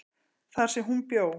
þar sem hún bjó.